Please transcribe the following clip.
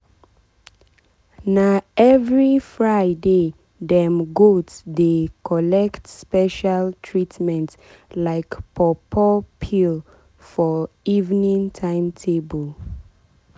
na every fridaydem goat dey collect special treatment like pawpaw pawpaw peel for evening timetable.